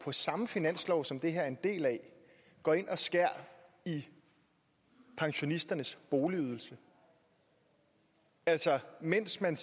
samme finanslov som det her er en del af går ind og skærer i pensionisternes boligydelse altså mens man